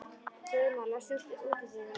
Guðmon, læstu útidyrunum.